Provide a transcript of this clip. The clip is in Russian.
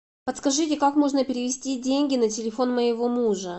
подскажите как можно перевести деньги на телефон моего мужа